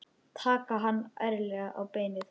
Taka hann ærlega á beinið.